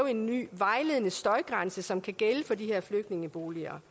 en ny vejledende støjgrænse som kan gælde for de her flygtningeboliger